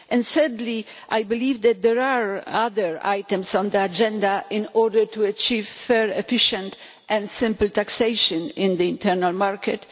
Thirdly, I believe that there are other items on the agenda needed in order to achieve fair, efficient and simple taxation in the internal market.